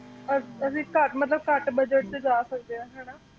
ਆ ਅਸੀ ਘੱਟ ਮਤਲਬ ਘੱਟ bugget ਵਿੱਚ ਜਾ ਸਕਦੇ ਹਾਂ ਹੈ ਨਾ